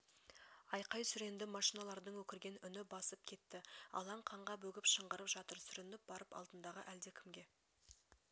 айқай-сүренді машиналардың өкірген үні басып кетті алаң қанға бөгіп шыңғырып жатыр сүрініп барып алдындағы әлдекімге